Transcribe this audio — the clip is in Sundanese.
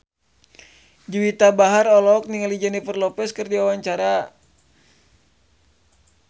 Juwita Bahar olohok ningali Jennifer Lopez keur diwawancara